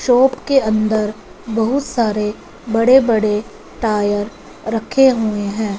Shop के अंदर बहुत सारे बड़े-बड़े टायर रखे हुए हैं।